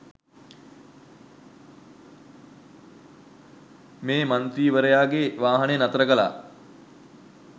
මේ මන්තී්‍රවරයාගේ වාහනය නතර කළා.